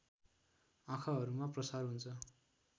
आँखाहरूमा प्रसार हुन्छ